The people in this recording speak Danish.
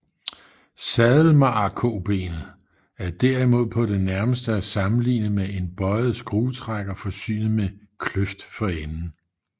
Sadelmagerkobenet er derimod på det nærmeste at sammenligne med en bøjet skruetrækker forsynet med kløft for enden